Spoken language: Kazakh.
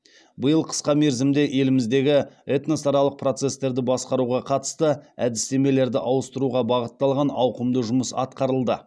биыл қысқа мерзімде еліміздегі этносаралық процестерді басқаруға қатысты әдістемелерді ауыстыруға бағытталған ауқымды жұмыс атқарылды